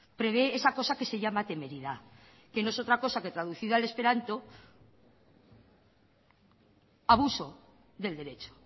prevé esa cosa que se llama temeridad que no es otra cosa que traducida al esperanto es abuso del derecho